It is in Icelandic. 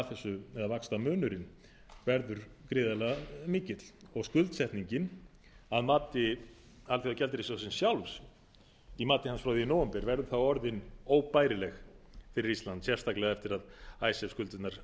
eða vaxtamunurinn verður gríðarlega mikill og skuldsetningin að mati alþjóðagjaldeyrissjóðsins sjálfs frá því í nóvember verður þá orðinn óbærileg fyrir ísland sérstaklega eftir að icesave skuldirnar